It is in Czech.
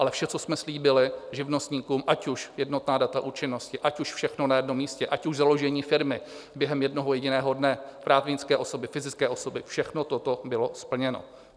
Ale vše, co jsme slíbili živnostníkům, ať už jednotná data účinnosti, ať už všechno na jednom místě, ať už založení firmy během jednoho jediného dne, právnické osoby, fyzické osoby, všechno toto bylo splněno.